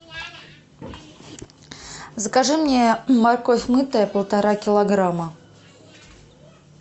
закажи мне морковь мытая полтора килограмма